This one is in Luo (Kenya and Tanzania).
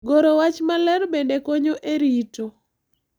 Goro wach maler bende konyo e rito .